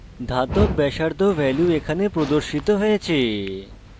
ধাতব ব্যাসার্ধ value এখানে প্রদর্শিত হয়েছে